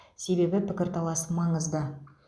себебі пікірталас маңызды